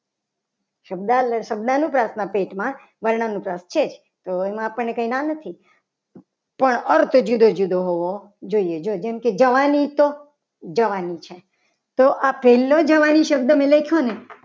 શબ્દ શબ્દનુપ્રાસના પેટમાં વર્ણ મુજબ છે. તો એમાં આપણને કંઈ ના નથી. પણ અર્થ જુદો જુદો હોવો જોઈએ જો પછી જવાની તો જવાની છે. તો પહેલો આ જવાની શબ્દ મેં લખ્યો ને